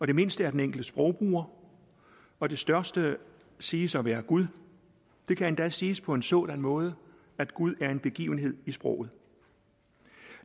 det mindste er den enkelte sprogbruger og det største siges at være gud det kan endda siges på en sådan måde at gud er en begivenhed i sproget